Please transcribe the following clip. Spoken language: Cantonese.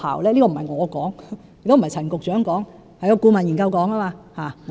這並非我所說，亦非陳局長所說，而是顧問研究說的。